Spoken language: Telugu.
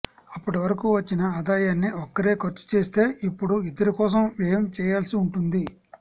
అప్పటి వరకూ వచ్చిన ఆదాయాన్ని ఒక్కరే ఖర్చు చేస్తే ఇప్పుడు ఇద్దరి కోసం వ్యయం చేయాల్సి ఉంటుంది